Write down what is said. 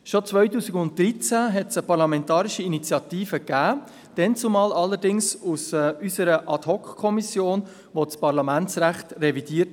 Schon 2013 gab es eine Parlamentarische Initiative, damals allerdings vonseiten unserer Ad-hoc-Kommission, welche das Parlamentsrecht revidierte.